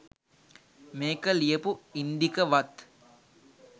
මේක ලියපු ඉන්දික වත්